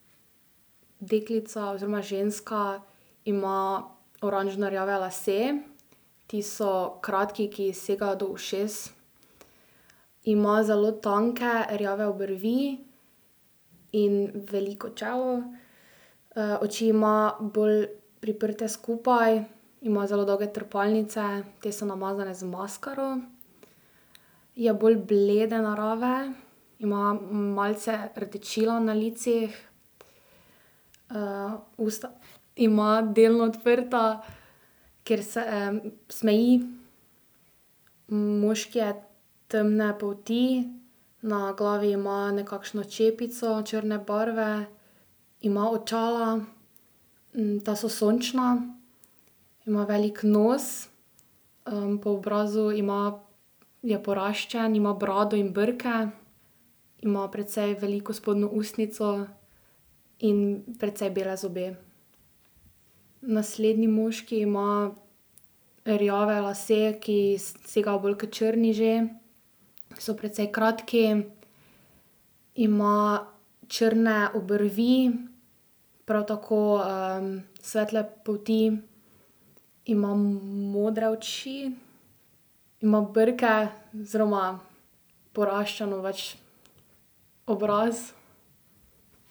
Deklica oziroma ženska ima oranžnorjave lase. Ti so kratki, ki ji segajo do ušes. Ima zelo tanke rjave obrvi in veliko čelo. oči ima bolj priprte skupaj. Ima zelo dolge trepalnice. Te so namazane z maskaro. Je bolj blede narave. Ima malce rdečila na licih. usta ima delno odprta, ker se, smeji. Moški je temne polti. Na glavi ima nekakšno čepico črne barve. Ima očala. Ta so sončna. Ima velik nos. po obrazu ima, je poraščen, ima brado in brke. Ima precej veliko spodnjo ustnico in precej bele zobe. Naslednji moški ima rjave lase, ki segajo bolj k črni že. So precej kratki. Ima črne obrvi. Prav tako, svetle polti. Ima modre oči. Ima brke oziroma poraščeno pač obraz.